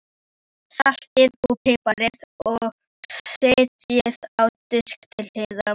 Saltið og piprið og setjið á disk til hliðar.